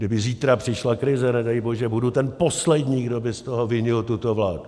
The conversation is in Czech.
Kdyby zítra přišla krize, nedej bože, budu ten poslední, kdo by z toho vinil tuto vládu.